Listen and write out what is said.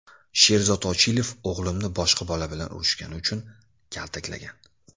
Sherzod Ochilov o‘g‘limni boshqa bola bilan urishgani uchun kaltaklagan.